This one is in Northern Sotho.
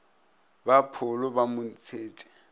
ba pholo ba mo ntšhetše